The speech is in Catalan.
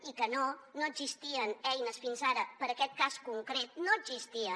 i que no no existien eines fins ara per a aquest cas concret no n’existien